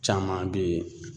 Caman be ye